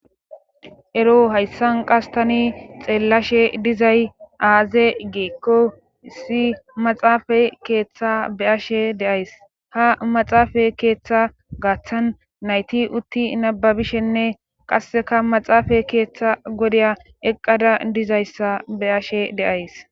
Ero hayssan qas tani xeellashe dizay aaze geekko issi maxaafa keeththa beashe deays ha maxaafa keeththa gaaththan nayti utti nababishenne qasseka maxaafa keeththa godya eqqada dizayssa be ashe deays.